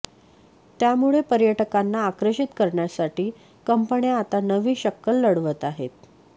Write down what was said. त्यामुळे पर्यटकांना आकर्षित करण्यासाठी कंपन्या आता नवी शक्कल लढवत आहेत